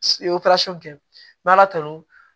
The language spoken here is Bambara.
I ye kɛ n bɛ ala tanu